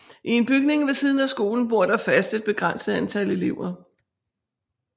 I en bygning ved siden af skolen bor der fast et begrænset antal elever